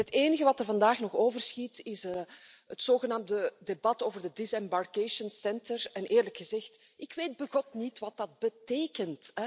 Het enige wat er vandaag nog overschiet is het zogenaamde debat over de disembarcation centers en eerlijk gezegd ik weet begot niet wat dat betekent.